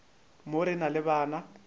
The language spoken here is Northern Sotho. mo re na le bana